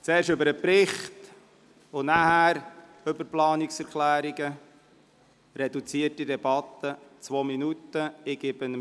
Zuerst sprechen wir also über den Bericht und danach über die Planungserklärungen, in reduzierter Debatte mit zwei Minuten Redezeit.